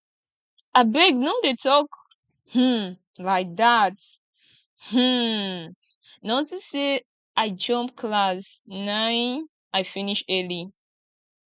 abeg no dey talk um like dat um na unto say i jump class na im i finish early